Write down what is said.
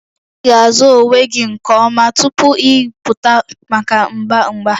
Ị ga-azụ onwe gị nke ọma tupu ị pụta maka mgba mgba